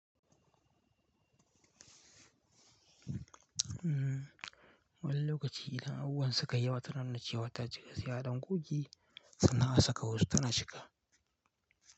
Wani lokaci idan abubuwan suka yi yawa tana nuna cewa ta cika, sai a ɗan goge sannan a saka wasu tana cika.